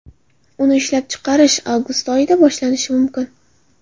Uni ishlab chiqarish avgust oyida boshlanishi mumkin.